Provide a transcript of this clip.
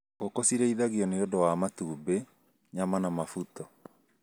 Ngũkũ cirĩithagio nĩũndũ wa matumbĩ, nyama na mabuto.